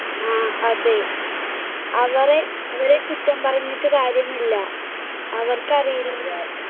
ആ അതെ, അവരെ~അവരെ കുറ്റം പറഞ്ഞിട്ട് കാര്യമില്ല, അവർക്ക് അറിയില്ല.